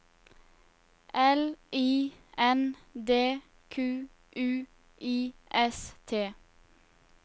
L I N D Q U I S T